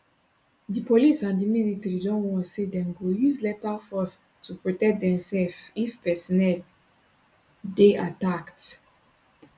di police and di military don warn say dem go use lethal force to protect demsefs if personnel dey attacked